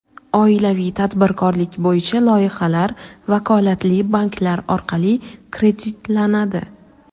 Oilaviy tadbirkorlik bo‘yicha loyihalar vakolatli banklar orqali kreditlanadi.